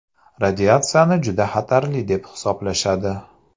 Radiatsiyani juda xatarli deb hisoblashadi.